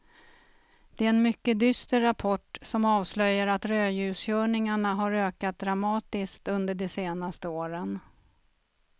Det är en mycket dyster rapport som avslöjar att rödljuskörningarna har ökat dramatiskt under de senaste åren.